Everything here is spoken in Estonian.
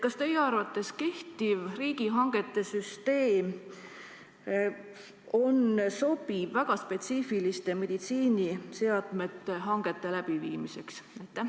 Kas teie arvates on kehtiv riigihangete süsteem sobiv väga spetsiifiliste meditsiiniseadmete hangete läbiviimiseks?